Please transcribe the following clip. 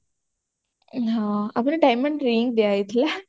ହଁ ଆମର diamond ring ଦିଅ ହେଇଥିଲା